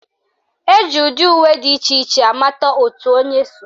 Eji ụdị uwe dị iche iche amata òtù onye so